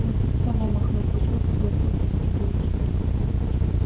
ну типа того махнув рукой согласился сергей